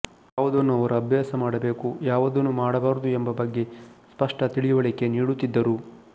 ಯಾವುದನ್ನು ಅವರು ಅಭ್ಯಾಸ ಮಾಡಬೇಕು ಯಾವುದನ್ನು ಮಾಡಬಾರದು ಎಂಬ ಬಗ್ಗೆ ಸ್ಪಷ್ಟ ತಿಳಿವಳಿಕೆ ನೀಡುತ್ತಿದ್ದರು